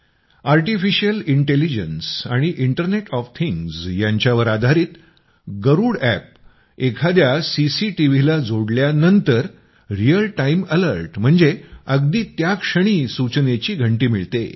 artificial intelligence आणि internet of things यांच्यावर आधारित गरूड अॅप एखाद्या सीसीटीव्हीला जोडल्यानंतर रियल टाइम अॅलर्ट म्हणजे अगदी त्या क्षणी सूचनेची घंटी मिळते